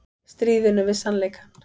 Stríðinu við sannleikann